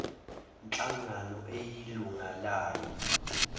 nhlangano eyilunga layo